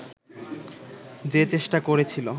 যে চেষ্টা করেছিল